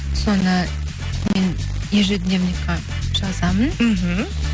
соны мен ежедневникқа жазамын іхі